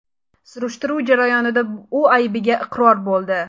Surishtiruv jarayonida u aybiga iqror bo‘ldi.